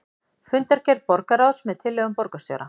Fundargerð borgarráðs með tillögum borgarstjóra